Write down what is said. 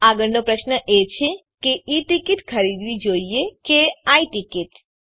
આગળનો પ્રશ્ન એ છે કે ઈ ટીકીટ ખરીદવી જોઈએ કે આઈ ટીકીટ